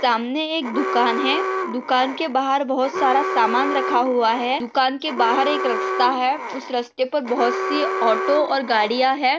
सामने एक दुकान है दुकान के बाहर बहूत सारा सामान रखा हुआ है। दुकान के बाहर एक रस्ता है। उस रस्ते पे बहुत सी ऑटो और गाड़िया है।